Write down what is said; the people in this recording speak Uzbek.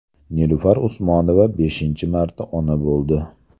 Nilufar Usmonova beshinchi marta ona bo‘ldi.